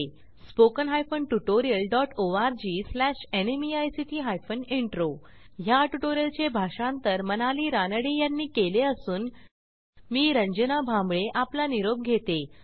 spoken hyphen tutorial dot ORG slash NMEICT hyphen intro ह्या ट्युटोरियलचे भाषांतर मनाली रानडे यांनी केले असून मी रंजना भांबळे आपला निरोप घेते